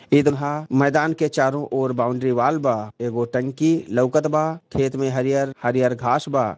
एको मैदान के चारो ओर बाउंड्री वाल बा एगो टंकी लौकत बा खेत में हरी हल हरी हल घास बा।